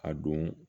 A don